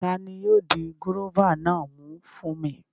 Tani yóò di gúróvà náà mú fún mi?